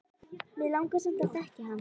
Mig langar samt að þekkja hann